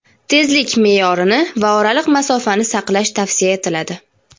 tezlik me’yorini va oraliq masofani saqlash tavsiya etiladi.